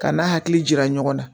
Ka n'a hakili jira ɲɔgɔn na